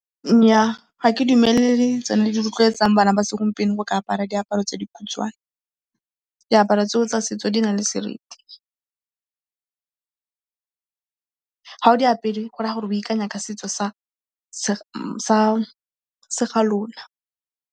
Nyaa ga ke dumele le tsone di rotloetsang bana ba segompieno go ka apara diaparo tse dikhutshwane. Diaparo tseo tsa setso di na le seriti. Ga o di apere go ra gore o ikanya ka setso sa ga lona.